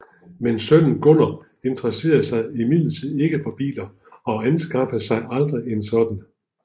Men sønnen Gunner interesserede sig imidlertid ikke for biler og anskaffede sig aldrig en sådan